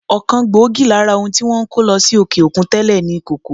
Ọ̀kan gbòógì lára ohun tí wọ́n ń kó lọ sí òkè-òkun tẹ́lè ni kòkó.